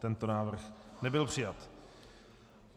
Tento návrh nebyl přijat.